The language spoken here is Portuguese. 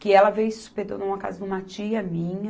Que ela veio e se hospedou numa casa de uma tia minha.